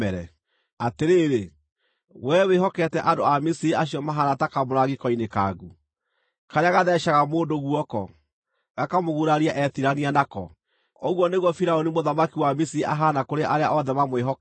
Atĩrĩrĩ, wee wĩhokete andũ a Misiri acio mahaana ta kamũrangi koinĩkangu, karĩa gatheecaga mũndũ guoko, gakamũguraria etiirania nako! Ũguo nĩguo Firaũni mũthamaki wa Misiri ahaana kũrĩ arĩa othe mamwĩhokaga.